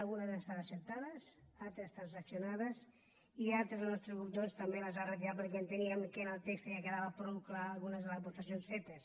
algunes han estat acceptades altres transaccionades i altres el nostre grup també les ha retirat perquè enteníem que en el text ja quedaven prou clares algunes de les aportacions fetes